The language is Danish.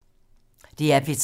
DR P3